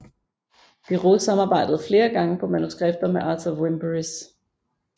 Bíró samarbejdede flere gange på manuskripter med Arthur Wimperis